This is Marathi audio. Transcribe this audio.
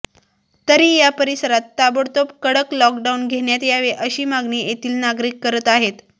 तरी या परिसरात ताबडतोब कडक लॉकडाऊन घेण्यात यावे अशी मागणी येथील नागरिक करत आहेत